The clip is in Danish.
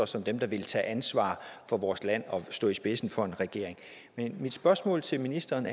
som dem der ville tage ansvar for vores land og stå i spidsen for en regering mit spørgsmål til ministeren